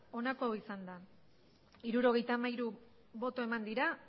onako izan da hirurogeita hamairu boto eman dira